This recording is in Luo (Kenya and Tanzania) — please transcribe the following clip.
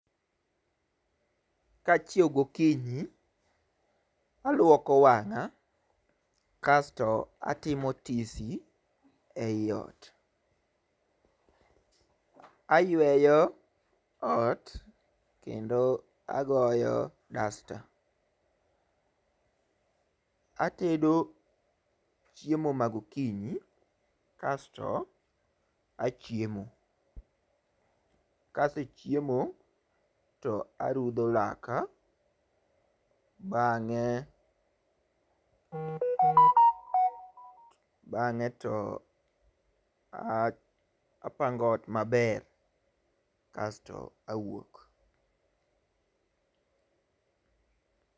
Kachiewo gokinyi aluoko wang'a kasto atimo tisi ei ot .Ayueyo ot kendo agoyo dasta atedo chiemo ma gokinyi kasto achiemo .Kasechiemo to arudho laka bang'e bang'e to apango ot maber kasto awuok.